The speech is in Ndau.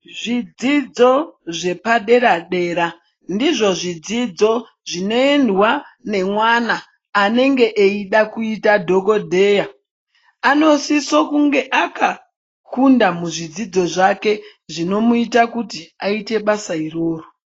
Zvidzidzo zvepadera dera ndizvidzidzo zvinoendwa nemana anenge echida kuita madhokodheya ,anosiso kunge akakunda muzvidzidzo zvake zvinomuita kuti aite basa iroro.